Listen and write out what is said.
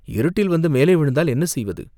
இருட்டில் வந்து மேலே விழுந்தால் என்ன செய்வது?